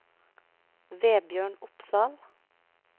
Vebjørn Opsahl